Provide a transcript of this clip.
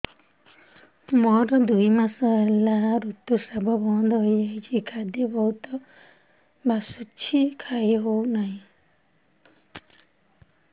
ମୋର ଦୁଇ ମାସ ହେଲା ଋତୁ ସ୍ରାବ ବନ୍ଦ ହେଇଯାଇଛି ଖାଦ୍ୟ ବହୁତ ବାସୁଛି ଖାଇ ହଉ ନାହିଁ